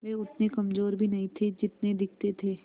वे उतने कमज़ोर भी नहीं थे जितने दिखते थे